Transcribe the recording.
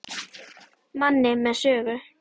Manni með sögu.